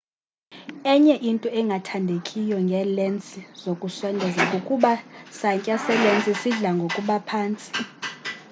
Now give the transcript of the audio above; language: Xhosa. enye into engathandekiyo ngeelensi zokusondeza kukuba santya selensi sidla ngokuba phantsi